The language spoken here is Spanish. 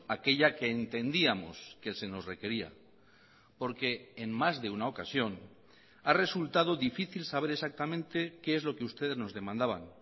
aquella que entendíamos que se nos requería porque en más de una ocasión ha resultado difícil saber exactamente qué es lo que ustedes nos demandaban